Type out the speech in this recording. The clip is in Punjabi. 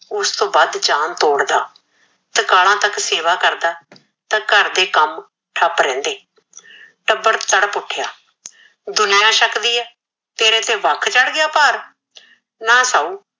ਓਸ ਤੋਂ ਵਧ ਜਾਨ ਤੋੜਦਾ ਤ੍ਰਿਕਾਲਾ ਤਕ ਸੇਵਾ ਕਰਦਾ ਤਾ ਘਰ ਦੇ ਕਮ ਠਪ ਰਿਹੰਦੇ ਟਬਰ ਤੜਪ ਉਠਿਆ ਦੁਨੀਆ ਸ਼ਕਦੀ ਏ ਤੇਰੇ ਤੇ ਵਖ ਚੜ ਗਿਆ ਭਾਰ ਨਾ ਸ਼ਾਉ